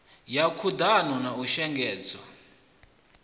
ya khuḓano na u shengedzwa